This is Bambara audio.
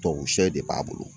tuwabu sɛ de b'a bolo.